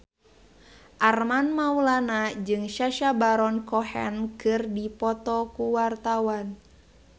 Armand Maulana jeung Sacha Baron Cohen keur dipoto ku wartawan